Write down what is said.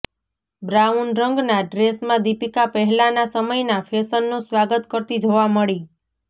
brown રંગના ડ્રેસમાં દીપિકા પહેલાના સમયના ફેશનનું સ્વાગત કરતી જોવા મળી